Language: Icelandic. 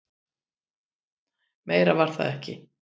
Meira var það ekki.